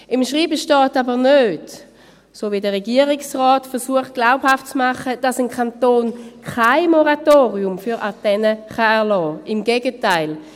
Im Schreiben steht aber nicht – wie es der Regierungsrat glaubhaft zu machen versucht –, dass ein Kanton kein Moratorium für Antennen erlassen kann, im Gegenteil.